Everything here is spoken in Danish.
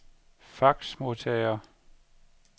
faxmodtager